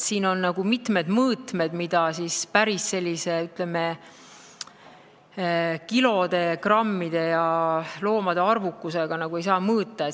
Siin on mitmed mõõtmed, mida päris, ütleme, kilode, grammide ja loomade arvuga mõõta ei saa.